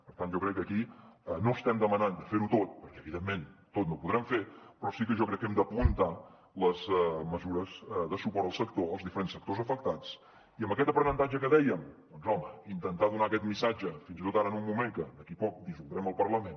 per tant jo crec que aquí no estem demanant de fer ho tot perquè evidentment tot no ho podrem fer però sí que jo crec que hem d’apuntar les mesures de suport als diferents sectors afectats i amb aquest aprenentatge que dèiem doncs home intentar donar aquest missatge fins i tot ara en un moment que d’aquí poc dissoldrem el parlament